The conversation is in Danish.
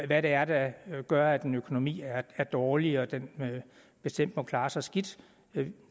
hvad det er der gør at en økonomi er er dårlig og at den bestemt må klare sig skidt